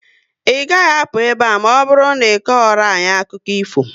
Ị gaghị apụ ebe a, na ọbụrụ na iko ghọrọ anyị akụkụ ifo!